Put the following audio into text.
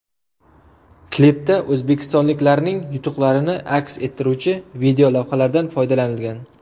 Klipda o‘zbekistonliklarning yutuqlarini aks ettiruvchi videolavhalardan foydalanilgan.